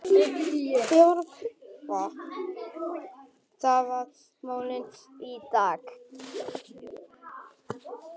Þórelfur, hvaða mánaðardagur er í dag?